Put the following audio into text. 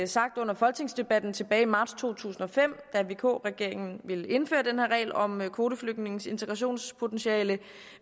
sagt under folketingsdebatten tilbage i marts to tusind og fem da vk regeringen ville indføre den her regel om kvoteflygtninges integrationspotentiale